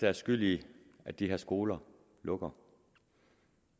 er skyld i at de her skoler lukker